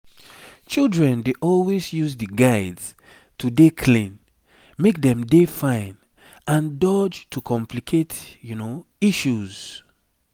children dey always use di guides to dey clean make dem dey fine and dodge to complicate issues